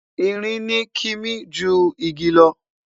ìrìn ni kimi jù ìgi lo